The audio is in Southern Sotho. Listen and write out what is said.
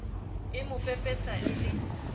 e mo pepesa e le